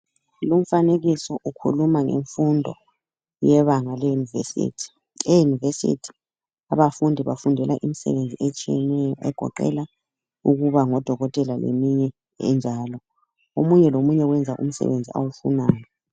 Lumfanekiso ukhuluma ngemfundo yebanga leyunivesithi. Eyunivesithi abafundi bafundela imisebenzi etshiyeneyo egoqela ukuba ngodokotela leminye enjalo. Omunye lomunye wenza umsebenzi awufunayo.